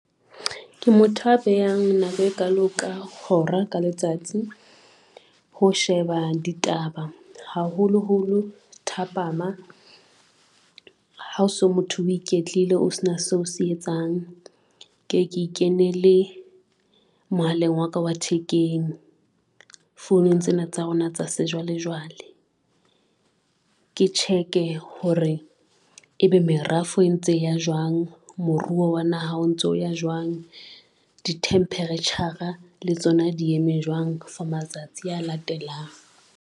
Ke motho a behang nako e kalo ka hora ka letsatsi ho sheba ditaba, haholoholo thapama ha so motho o iketlile o sena seo se etsang. Ke ke kenele mohaleng wa ka wa thekeng founong tsena tsa rona tsa sejwalejwale, ke check-e hore ebe merafo e ntse ya jwang, moruo wa naha o ntso ya jwang, di-temperature-ra le tsona, di eme jwang for matsatsi a latelang.